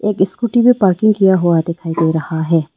एक स्कूटी में पार्किंग किया हुआ दिखाई दे रहा है।